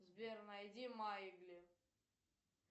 сбер найди маугли